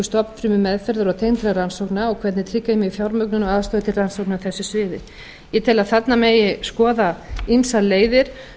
eflingu stofnfrumumeðferðar og tengdra rannsókna og hvernig tryggja megi fjármögnun á aðstöðu til rannsókna á þessu sviði ég tel að þarna megi skoða ýmsar leiðir